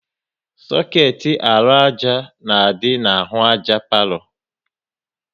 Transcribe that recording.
Soketi arụ àjà na-adị n'ahụ àjà palo